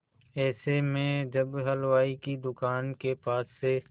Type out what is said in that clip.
ऐसे में जब वह हलवाई की दुकान के पास से